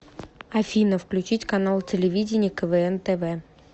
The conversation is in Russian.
афина включить канал телевидения квн тв